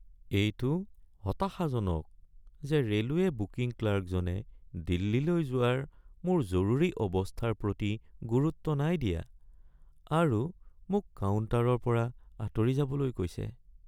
এইটো হতাশাজনক যে ৰে'লৱে' বুকিং ক্লাৰ্কজনে দিল্লীলৈ যোৱাৰ মোৰ জৰুৰী অৱস্থাৰ প্ৰতি গুৰুত্ব নাই দিয়া আৰু মোক কাউণ্টাৰৰ পৰা আঁতৰি যাবলৈ কৈছে।